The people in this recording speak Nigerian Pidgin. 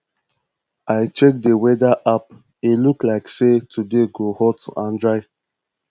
i check di weather app e look like say today go hot and dry